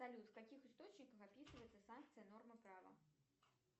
салют в каких источниках описывается санкция норма права